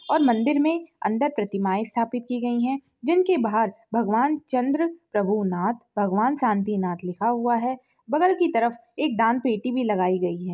और मंदिर में अंदर प्रतिमाएं स्थापित की गई हैं। जिनके बाहर भगवान चंद्र प्रभु नाथ भगवान शांतिनाथ लिखा हुआ है। बगल की तरफ एक दान पेटी भी लगाई गई है।